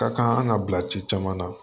Ka kan an ka bila ci caman na